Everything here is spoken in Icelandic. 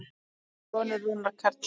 Þinn sonur, Rúnar Karl.